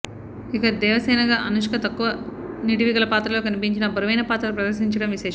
ఇక దేవసేనగా అనుష్క తక్కువ నిడివి గల పాత్రలో కనిపించినా బరువైన పాత్ర ప్రదర్శించడం విశేషం